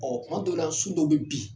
Ɔ tuma dɔw su dɔ bɛ bin